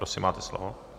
Prosím, máte slovo.